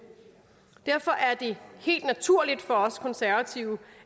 derfor er det helt naturligt for os konservative